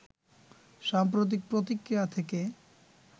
সাম্প্রতিক প্রতিক্রিয়া থেকে